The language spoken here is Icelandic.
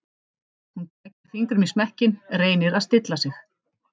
Hún krækir fingrum í smekkinn, reynir að stilla sig.